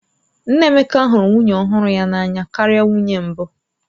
Nna Emeka hụrụ nwunye ọhụrụ ya n'anya karịa nwunye mbụ